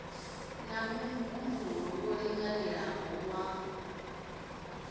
na muhumbulo wo linganelaho wa